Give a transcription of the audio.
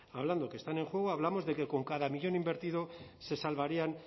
hablando que están en juego hablamos de que con cada millón invertido se salvarían